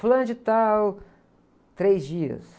Fulano de tal, três dias.